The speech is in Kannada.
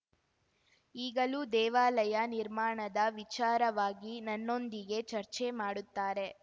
ಈಗಲೂ ದೇವಾಲಯ ನಿರ್ಮಾಣದ ವಿಚಾರವಾಗಿ ನನ್ನೊಂದಿಗೆ ಚರ್ಚೆ ಮಾಡುತ್ತಾರೆ